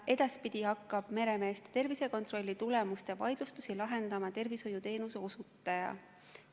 Edaspidi hakkab meremeeste tervisekontrolli tulemuste vaidlustusi lahendama tervishoiuteenuse osutaja.